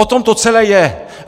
O tom to celé je!